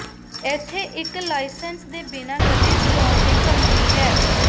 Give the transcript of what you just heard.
ਇੱਥੇ ਇੱਕ ਲਾਇਸੰਸ ਦੇ ਬਿਨਾ ਗੱਡੀ ਚਲਾਉਣ ਦੀ ਧਮਕੀ ਹੈ